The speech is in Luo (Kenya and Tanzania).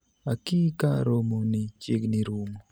aki ka romo ni chiegni rumo